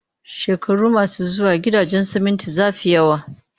Shekaru masu zuwa, gidajen siminti za fi yawa